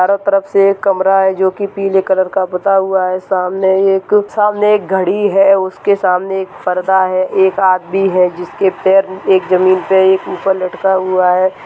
चारो तरफ से एक कमरा है जो पीले कलर का पुता हुआ है सामने एक सामने एक घड़ी है उसके सामने एक पर्दा है एक आदमी है जिसके पैर एक जमीन पर एक ऊपर लटका हुआ है।